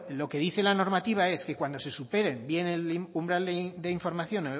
lo que dice la normativa es que cuando se superen bien el umbral de información